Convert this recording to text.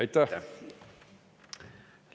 Aitäh!